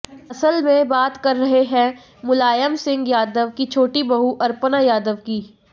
असल में बात कर रहे हैं मुलायम सिंह यादव की छोटी बहू अपर्णा यादव की